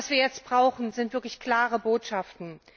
Was wir jetzt brauchen, sind wirklich klare Botschaften.